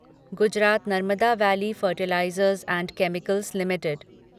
Gujarat Narmada valley fertilizers and chemicals limited